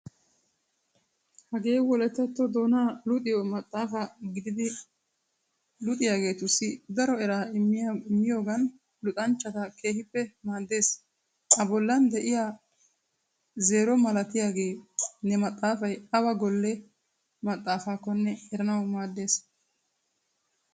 Hagee wolayttatto doonaa luxiyo maxaafa gididi luxiyaageetussi daro eraa immiyogan luxanchchata keehippe maaddeees. A bollan de'iyaa zeero malatiyaage he maxaafay awa golle maxaafakkonne eranawu maaddeees.